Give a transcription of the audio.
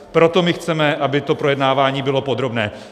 Proto my chceme, aby to projednávání bylo podrobné.